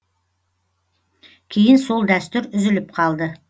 кейін сол дәстүр үзіліп қалды